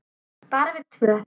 Bara við tvö?